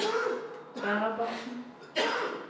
Verrabotn